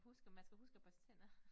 Og husk at man skal huske at børste tænder